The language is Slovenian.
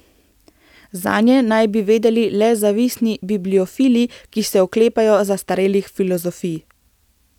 Zanje naj bi vedeli le zavistni bibliofili, ki se oklepajo zastarelih filozofij.